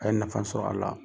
A ye nafa sɔrɔ a la.